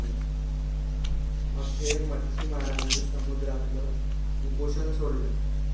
अखेर मच्छीमारांनी समुद्रातलं उपोषण सोडलं